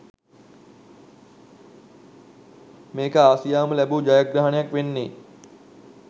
මේක ආසියාවම ලැබූ ජයග්‍රහණයක් වෙන්නේ.